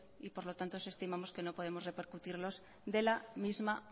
y por lo tanto los estimamos que no podemos repercutirlos de la misma